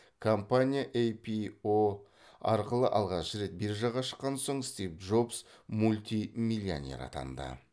компания іро арқылы алғашқы рет биржаға шыққаннан соң стив джобс мультимиллионер атанды